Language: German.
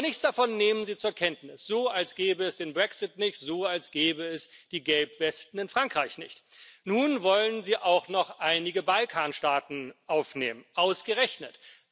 Aber nichts davon nehmen Sie zur Kenntnis, so als gäbe es den Brexit nicht, so als gäbe es die Gelbwesten in Frankreich nicht. Nun wollen Sie auch noch einige Balkanstaaten aufnehmen ausgerechnet!